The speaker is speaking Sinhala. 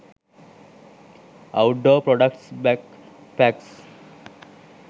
outdoor products backpacks